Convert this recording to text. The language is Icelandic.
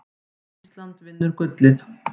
Ísland vinnur gullið